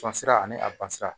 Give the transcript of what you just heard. Sɔn sira ani a ban sira